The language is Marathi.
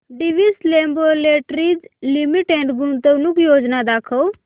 डिवीस लॅबोरेटरीज लिमिटेड गुंतवणूक योजना दाखव